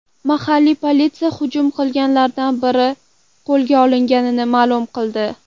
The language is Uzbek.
Mahalliy politsiya hujum qilganlardan biri qo‘lga olinganini ma’lum qildi.